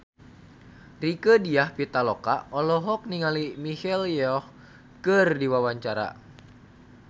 Rieke Diah Pitaloka olohok ningali Michelle Yeoh keur diwawancara